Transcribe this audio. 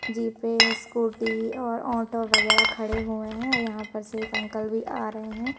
जीपे scooty और auto वगैरा खड़े हुए हैं और यहां पर से एक अंकल भी आ रहे हैं।